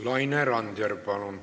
Laine Randjärv, palun!